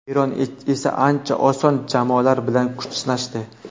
Eron esa ancha oson jamoalar bilan kuch sinashdi.